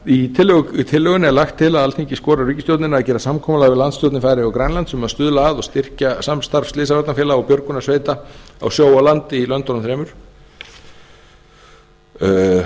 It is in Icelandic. í tillögunni er lagt til að alþingi skori á ríkisstjórnina að gera samkomulag við landsstjórnir færeyja og grænlands um að stuðla að og styrkja samstarf slysavarnafélaga og björgunarsveita á sjó og landi í löndunum þremur utanríkismálanefnd